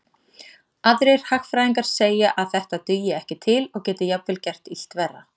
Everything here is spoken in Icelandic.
Aðrir hagfræðingar segja að þetta dugi ekki til og geti jafnvel gert illt verra.